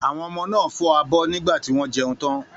Àwọn ọmọ náà fọ abọ́ nígbà tí wọ́n jẹun tán.